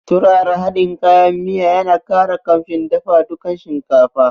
Turara hadin kayan miya ya na ƙara kamshin dafa dukan shinkafa